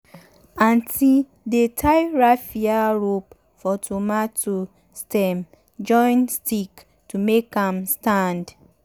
aunty dey tie raffia rope for tomato stem join stick to make am stand.